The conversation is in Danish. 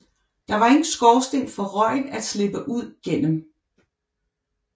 Der var ingen skorsten for røgen at slippe ud gennem